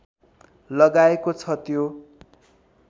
लगाएको छ त्यो